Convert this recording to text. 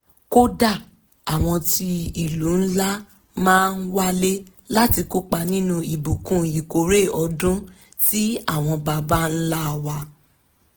kódà àwọn ti ìlú ńlá máa ń wálé láti kópa nínú ìbùkún ìkórè ọdún tí àwọn baba ńlá wa